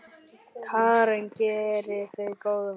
Karen: Gerir þú góðverk?